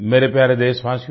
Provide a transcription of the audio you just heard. मेरे प्यारे देशवासियो